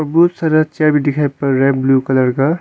बहुत सारा चेयर भी दिखाई पर रहा है ब्लू कलर का।